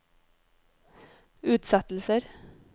utsettelser